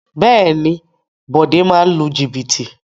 Bẹ́ẹ̀ni Bode máa ń lu jìbìtì